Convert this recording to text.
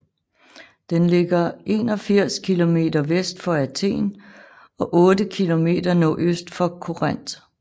Den ligger 81 km vest for Athen og 8 km nordøst for Korinth